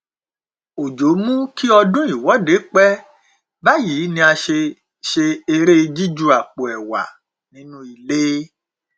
òjò mú kí ọdún ìwọde pẹ báyìí ni a ṣe ṣe eré jíju àpò ẹwà nínú ilé